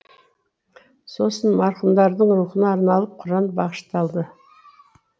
сосын марқұмдардың рухына арналып құран бағышталды